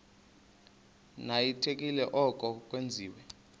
ninyanzelekile koko wenzeni